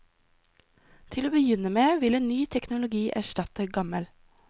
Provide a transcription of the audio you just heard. Til å begynne med vil en ny teknologi erstatte gammel.